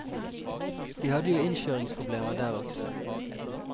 De hadde jo innkjøringsproblemer der også.